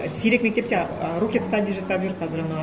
сирек мектепте ы рокет стади жасап жүр қазір анау